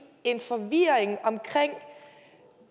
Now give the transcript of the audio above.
en forvirring om